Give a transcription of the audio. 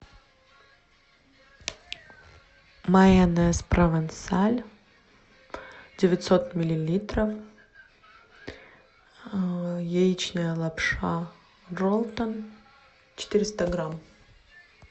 майонез провансаль девятьсот миллилитров яичная лапша ролтон четыреста грамм